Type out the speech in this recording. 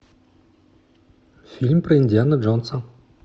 фильм про индиана джонса